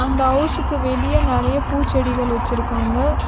இந்த ஹவுஸ்சுக்கு வெளிய நெறைய பூச்செடிகள் வச்சுருக்காங்க.